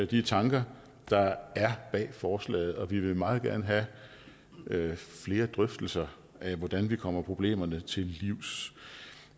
de tanker der er bag forslaget og vi vil meget gerne have flere drøftelser af hvordan vi kommer problemerne til livs